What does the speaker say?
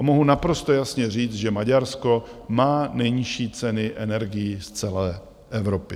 A mohu naprosto jasně říct, že Maďarsko má nejnižší ceny energií z celé Evropy.